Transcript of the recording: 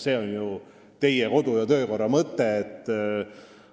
See on ju teie kodu- ja töökorra mõte: